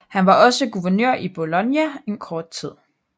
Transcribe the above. Han var også guvernør i Bologna en kort tid